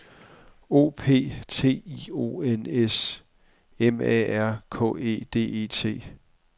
O P T I O N S M A R K E D E T